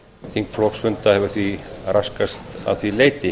þingflokksfunda hefur því raskast að því leyti